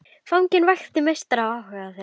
Fanginn vakti mestan áhuga þeirra.